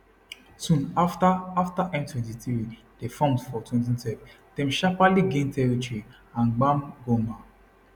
soon afta afta m23 dey formed for 2012 dem sharparly gain territory and gbab goma